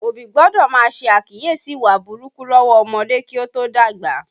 Òbí gbọ́dọ̀ má ṣe àkíyèsí ìwà burúkú lọ́wọ́ ọmọdé kí ó tó dàgbà